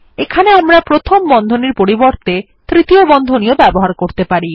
এখানে আমরা প্রথম বন্ধনীর পরিবর্তে তৃতীয় বন্ধনী ও ব্যবহার করতে পারি